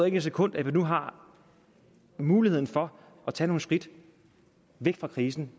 ikke et sekund at vi nu har muligheden for at tage nogle skridt væk fra krisen